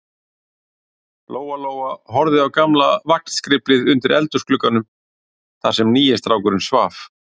Lóa-Lóa horfði á gamla vagnskriflið undir eldhúsglugganum, þar sem nýi strákurinn svaf.